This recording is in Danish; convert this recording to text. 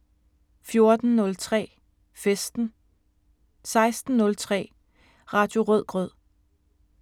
14:03: Festen 16:03: Radio Rødgrød